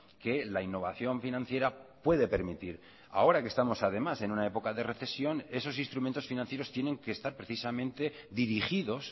que la innovación financiera puede permitir ahora que estamos además en una época de recesión esos instrumentos financieros tienen que estar precisamente dirigidos